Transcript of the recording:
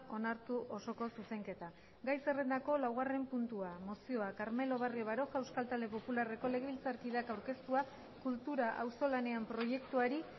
onartu osoko zuzenketa gai zerrendako laugarren puntua mozioa carmelo barrio baroja euskal talde popularreko legebiltzarkideak aurkeztua kultura auzolanean proiektuari